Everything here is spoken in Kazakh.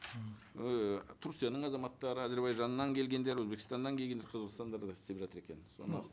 ыыы турцияның азаматтары әзірбайжаннан келгендер өзбекстаннан келгендер қазақстанда да істеп жатыр екен соны